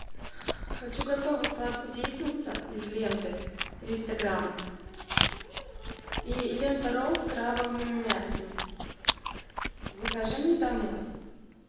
хочу готовый салат кудесница из ленты триста грамм и лента ролл с крабовым мясом закажи мне домой